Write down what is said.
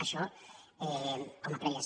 això com a prèvies